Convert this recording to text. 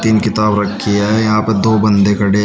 तीन किताब रखी है यहां पर दो बंदे खड़े हैं।